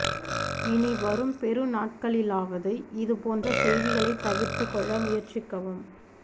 இனி வரும் பெருநாட்களிலாவது இது போன்ற செய்திகளை தவிர்த்து கொள்ள முயற்சிக்கவும்